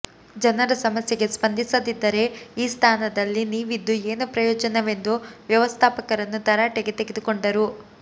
ಜನರ ಸಮಸ್ಯೆಗೆ ಸ್ಪಂದಿಸದಿದ್ದರೆ ಈ ಸ್ಥಾನದಲ್ಲಿ ನೀವಿದ್ದು ಏನು ಪ್ರಯೋಜನವೆಂದು ವ್ಯವಸ್ಥಾಪಕರನ್ನು ತರಾಟೆಗೆ ತೆಗೆದುಕೊಂಡರು